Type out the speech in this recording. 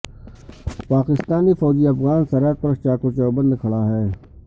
پاکستانی فوجی افغان سرحد پر چاق و چوبند کھڑا ہے